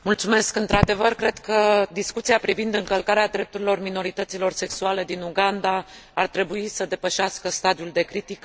Într adevăr, cred că discuția privind încălcarea drepturilor minorităților sexuale din Uganda ar trebuie să depășească stadiul de critică.